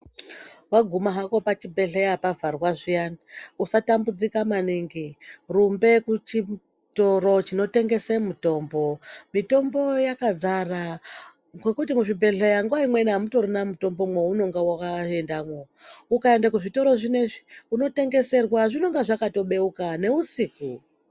Waguma hako pachibhedhleya pavharwa zviyani usatambudzika maningi rumbe kuchitoro chinotengese mitombo, mitombo yakadzara ngokuti muzvibhedhleya nguwa imweni amutorina mutombo mwowunonga waendamo , ukaenda kuzvitoro zvinezvi unotengeserwa zvinonga zvakatobeuka nousiku.